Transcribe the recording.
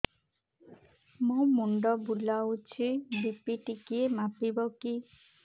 ମୋ ମୁଣ୍ଡ ବୁଲାଉଛି ବି.ପି ଟିକିଏ ମାପିବ କି